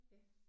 Ja